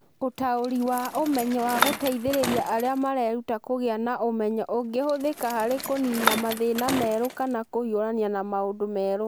Ũtaũri wa ũmenyo wa gũteithĩrĩria arĩa mareruta kũgĩa na ũmenyo ũngĩhũthĩka harĩ kũniina mathĩna merũ kana kũhiũrania na maũndũ merũ.